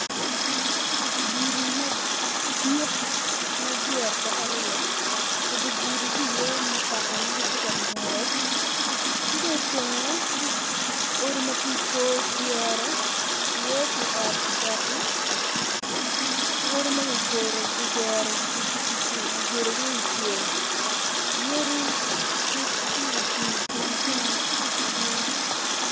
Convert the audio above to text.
Gudi madit ma dyere opoke aryo i dye gudi tye mutoka ma gitye ka ngwec ki dong i tenge tye odi ma tye i kor cere tye iye ot bati ki odi ma kigero kigedo i cel yadi ma tye ocung i kinekine madwong.